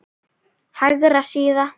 Hægri síða